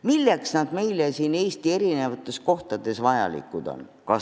Milleks need meile Eesti eri kohtades vajalikud on?